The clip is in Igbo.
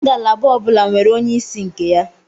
Ngalaba ọbula nwere onye isi nke ya